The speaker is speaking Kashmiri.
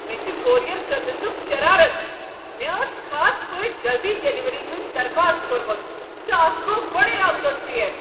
مےٚ چھ کوریر سٔروسُک شرارتھ۔ مےٚ ٲس خاص پٲٹھۍ جلدی ڈلیوری ہنٛد درخاست کورمُت، تہٕ اتھ گوٚو گۄڑے اکھ دۄہ ژیر۔